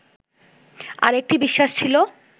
আরেকটি বিশ্বাস ছিল